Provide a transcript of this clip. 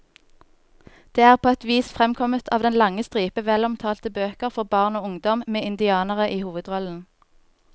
Det er på et vis fremkommet av den lange stripe velomtalte bøker for barn og ungdom med indianere i hovedrollen.